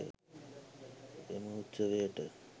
එම උත්සවයට